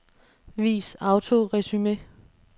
Vis autoresumé.